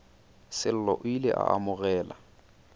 sello o ile a amogela